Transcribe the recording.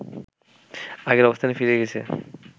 আগের অবস্থানে ফিরে গেছে